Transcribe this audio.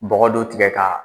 Bɔgɔ do tigɛ ka